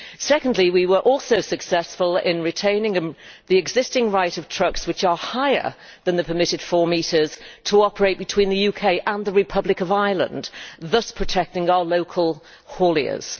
Secondly, we were also successful in retaining the existing right of trucks which are higher than the permitted 4 metres to operate between the UK and the Republic of Ireland, thus protecting our local hauliers.